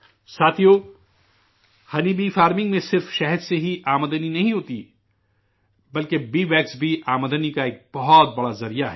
ساتھیو، شہد کی مکھی کی زراعت میں صرف شہد سے ہی آمدنی نہیں ہوتی، بلکہ بی ویکس بھی آمدنی کا ایک بہت بڑا ذریعہ ہے